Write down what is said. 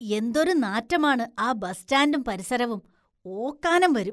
എന്തൊരു നാറ്റമാണ് ആ ബസ് സ്റ്റാന്‍ഡും പരിസരവും, ഓക്കാനും വരും.